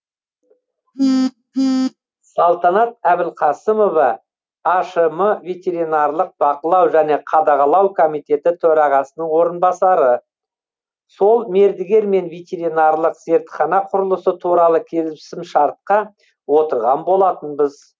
салтанат әбілқасымова ашм ветринарлық бақылау және қадағалау комитеті төрағасының орынбасары сол мердігермен ветеринарлық зертхана құрылысы туралы келісімшартқа отырған болатынбыз